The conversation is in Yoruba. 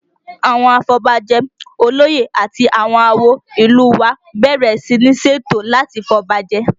Àwọn afọbajẹ, olóyè àti àwọn àwo ìlú u wa bẹ̀rẹ̀ sí ní ṣètò láti fi ọba jẹ